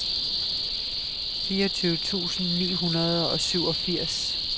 fireogtyve tusind ni hundrede og syvogfirs